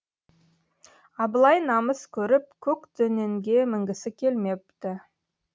абылай намыс көріп көк дөненге мінгісі келмепті